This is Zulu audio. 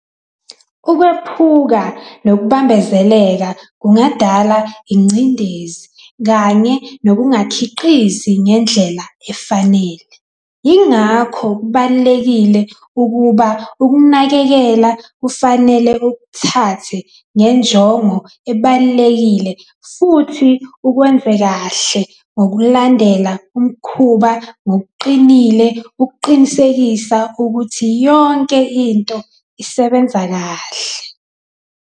Ukwephuka nokubambezeleka kungadala ingcindezi kanye nokungakhiqizi ngendlela efanele. Yingakho kubalulekile ukuba ukunakekela kufanele ukuthathe njengento ebalulekile futhi ukwenze kahle ngokulandela umkhuba ngokuqinile ukuqinisekisa ukuthi yonke into isebenza kahle.